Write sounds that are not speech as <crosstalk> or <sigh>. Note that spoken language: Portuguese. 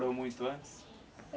<unintelligible> muito antes?